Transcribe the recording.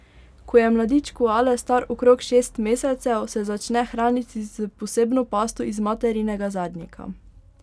Ko je mladič koale star okrog šest mesecev, se začne hraniti s posebno pasto iz materinega zadnjika.